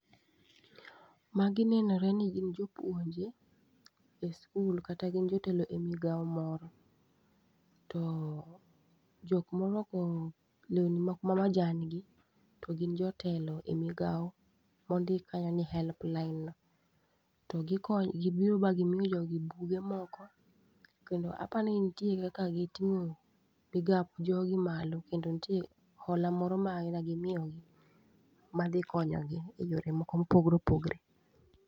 Magi nenore ni gin jopuonje e skul, kata gin jotelo e migao moro. To jok morwako lewni moko ma majan gi to gin jotelo e migao mondik kanyo ni helpline. To gikony gibiro ma gimiyo jogi buge moko, kendo apani nitie kaka giting'o migap jogi malo. Kendo nitie hola moro ma gimiyogi madhi konyogi e yore moko mopogore opogore.